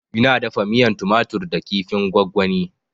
Ina dafa miyan tumatur da kifin gwagwani